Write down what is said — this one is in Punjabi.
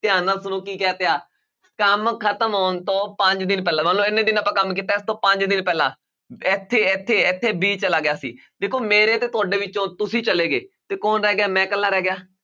ਧਿਆਨ ਨਾਲ ਸੁਣੋ ਕੀ ਕੰਮ ਖ਼ਤਮ ਹੋਣ ਤੋਂ ਪੰਜ ਦਿਨ ਪਹਿਲਾਂ ਮੰਨ ਲਓ ਇੰਨੇ ਦਿਨ ਆਪਾਂ ਕੰਮ ਕੀਤਾ ਹੈ ਇਸ ਤੋਂ ਪੰਜ ਦਿਨ ਪਹਿਲਾਂ, ਇੱਥੇ ਇੱਥੇ ਇੱਥੇ b ਚਲ ਗਿਆ ਸੀ ਦੇਖੋ ਮੇਰੇ ਤੇ ਤੁਹਾਡੇ ਵਿੱਚੋਂ ਤੁਸੀਂ ਚਲੇ ਗਏ ਤੇ ਕੌਣ ਰਹਿ ਗਿਆ ਮੈਂ ਇਕੱਲਾ ਰਹਿ ਗਿਆ,